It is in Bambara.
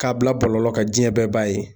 K'a bila bɔlɔlɔ kan diɲɛ bɛɛ b'a ye.